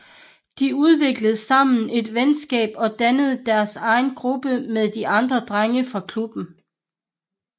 De udviklede sammen et venskab og dannede deres egen gruppe med de andre drenge fra klubben